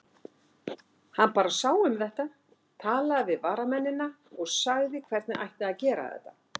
Hann bara sá um þetta, talaði við varnarmennina og sagði hvernig ætti að gera þetta.